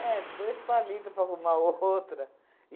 É, dois palito para arrumar outra.